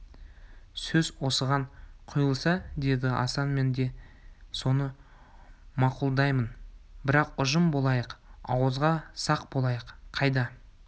сөз осыған құйылса деді асан мен де соны мақұлдаймын бірақ ұжым болайық ауызға сақ болайық қайда